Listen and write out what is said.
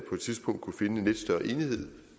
tidspunkt kunne findes større enighed